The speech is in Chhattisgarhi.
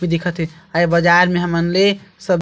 की दिखथ हे अ ये बाजार ले हमन ले सब्जी--